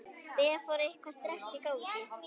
Stefán: Eitthvað stress í gangi?